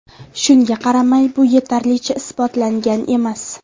Shunga qaramay, bu yetarlicha isbotlangan emas.